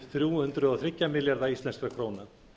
þrjú hundruð og þrjá milljarða íslenskra króna